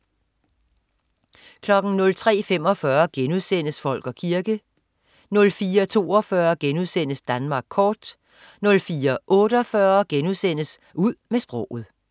03.45 Folk og kirke* 04.42 Danmark kort* 04.48 Ud med sproget*